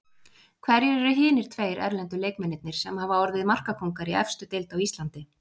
Hverjir eru hinir tveir erlendu leikmennirnir sem hafa orðið markakóngar í efstu deild á Íslandi?